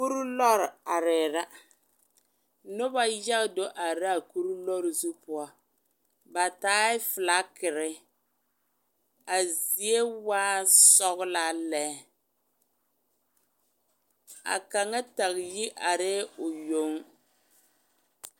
Kuruu lɔre arɛɛ la, noba yaga do are la a kuruu lɔre zu poɔ, ba taɛ felakiri, a zie waɛ sɔgelaa lɛ, a kaŋa tage yi arɛɛ o yoŋ.